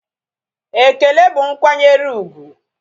Ekele bụ nkwanyere úgwù